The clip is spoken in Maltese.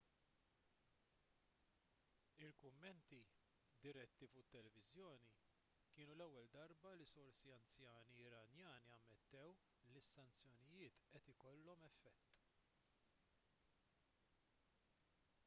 il-kummenti diretti fuq it-televiżjoni kienu l-ewwel darba li sorsi anzjani iranjani ammettew li s-sanzjonijiet qed ikollhom effett